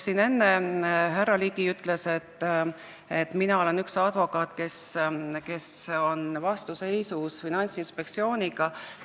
Enne härra Ligi ütles, et mina olen üks advokaate, kes on vastuseisus Finantsinspektsiooniga.